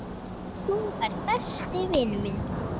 Þú ert besti vinur minn.